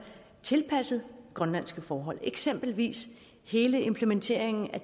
tilpasset grønlandske forhold det eksempelvis hele implementeringen af